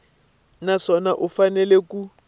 na swona u fanele ku